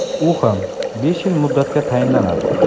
U ham besh yil muddatga tayinlanadi.